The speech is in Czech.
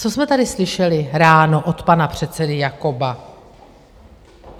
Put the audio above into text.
Co jsme tady slyšeli ráno od pana předsedy Jakoba?